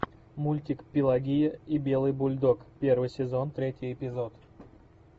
мультик пелагея и белый бульдог первый сезон третий эпизод